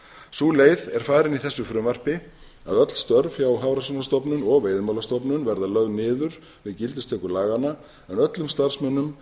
sú leið er farin í þessu frumvarpi að öll störf hjá hafrannsóknastofnun og veiðimálastofnun verða lög niður við gildistöku laga en öllum starfsmönnum